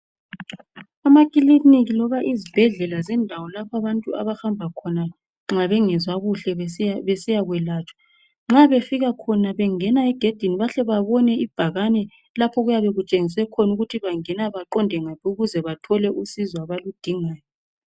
Amakiliniki loba izibhedlela kulendawo lapho abantu abahamba khona nxa bengezwa kuhle besiyakwelatshwa. Nxa befika khona bengena egedini bahle babone ibhakane lapho okuyabe kutshengiswe khona ukuthi baqonda ngaphi ukuze bathole usizo abaludingayo.